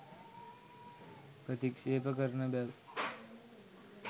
ප්‍රතික්ෂේප කරන බැව්